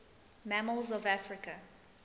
mammals of africa